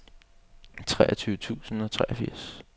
treogtyve tusind og treogfirs